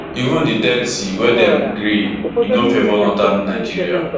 even di thirty wey dem gree e no favour northern nigeria